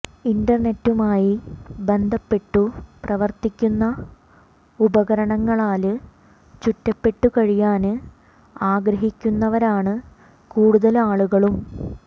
ഇന്റര്നെറ്റുമായി ബന്ധപ്പെട്ടു പ്രവര്ത്തിക്കുന്ന ഉപകരണങ്ങളാല് ചുറ്റപ്പെട്ടു കഴിയാന് ആഗ്രഹിക്കുന്നവരാണ് കൂടുതല് ആളുകളും